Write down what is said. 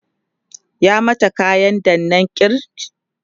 ya mata kayan danna kirj?